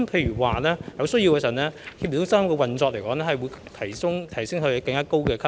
如有需要，協調中心的運作更會提升至更高級別。